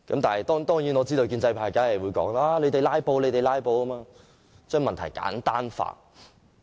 當然，我知道建制派一定指責我們"拉布"，藉此將問題簡單化。